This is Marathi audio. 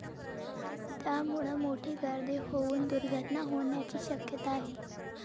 त्यामुळं मोठी गर्दी होऊन दुर्घटना होण्याची शक्यता आहे.